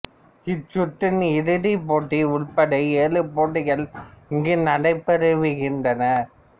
இச்சுற்றின் இறுதிப் போட்டி உட்பட ஏழு போட்டிகள் இங்கு நடைபெறவிருக்கின்றன